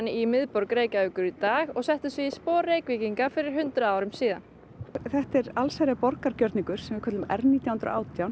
í miðborg Reykjavíkur í dag og settu sig í spor Reykvíkinga fyrir hundrað árum síðan þetta er allsherjar borgargjörningur sem við köllum r nítján hundruð og átján